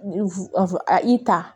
A i ta